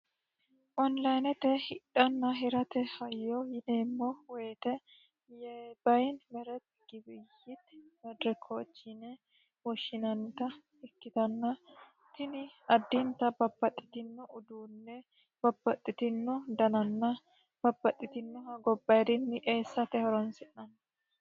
Onlinete hidhanna hirate hayyo yineemmo woyte tini addinta babbaxitino uduune babbaxitino danana gobbaayidini eessate horonsi'nanni.